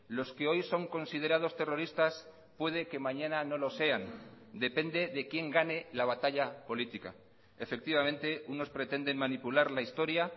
los que hoy son considerados terroristas puede que mañana no lo sean depende de quién gane la batalla política efectivamente unos pretenden manipular la historia